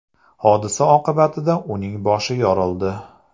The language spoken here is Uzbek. Hodisa oqibatida uning boshi yorildi.